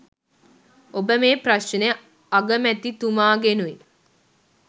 ඔබ මේ ප්‍රශ්නය අගමැතිතුමාගෙනුයි